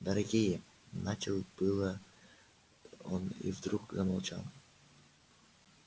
дорогие начал было он и вдруг промолчал